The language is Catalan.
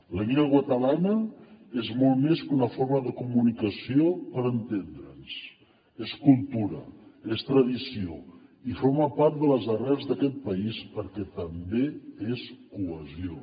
la llengua catalana és molt més que una forma de comunicació per entendre’ns és cultura és tradició i forma part de les arrels d’aquest país perquè també és cohesió